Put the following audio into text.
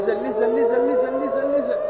Nəzəl nəzəl nəzəl nəzəl nəzəl nəzəl.